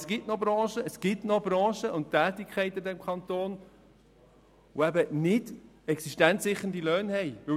Es gibt aber noch Tätigkeiten in verschiedenen Branchen in diesem Kanton, die eben nicht mit existenzsichernden Löhnen entschädigt werden.